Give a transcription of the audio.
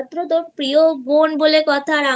একমাত্র প্রিয় বোন বলে কথা